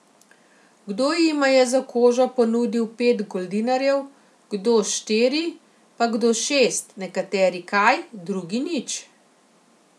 Kdo jima je za kožo ponudil pet goldinarjev, kdo štiri, pa kdo šest, nekateri kaj, drugi nič.